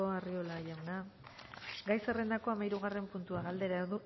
arriola jauna gai zerrendako hamairugarren puntua galdera